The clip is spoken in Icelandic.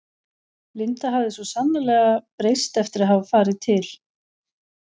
Linda hafði svo sannarlega breyst eftir að hafa farið til